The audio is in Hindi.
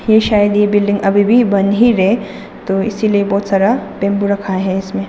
ये शायद ये बिल्डिंग अभी भी बन ही रहे तो इसीलिए बहुत सारा बैंबू रखा है इसमें।